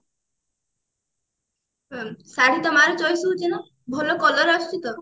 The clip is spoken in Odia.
ଶାଢୀ ତୋ ମାର choice ହଉଛି ନା ଭଲ color ଆସୁଛି ତ